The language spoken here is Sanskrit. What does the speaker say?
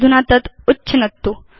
अधुना तत् उच्छिनत्तु